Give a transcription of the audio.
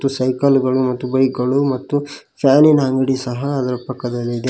Cycle ಗಳು ಮತ್ತು bike ಗಳು ಮತ್ತು ಫ್ಯಾನಿನ ಅಂಗ್ಡಿ ಸಹ ಅದರ ಪಕ್ಕದಲ್ಲಿ ಇದೆ.